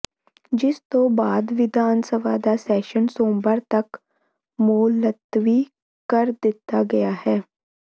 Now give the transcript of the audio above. ਜਿਸ ਤੋਂ ਬਾਅਦ ਵਿਧਾਨ ਸਭਾ ਦਾ ਸੈਸ਼ਨ ਸੋਮਵਾਰ ਤੱਕ ਮੁਲਤਵੀ ਕਰ ਦਿੱਤਾ ਗਿਆ ਹੈ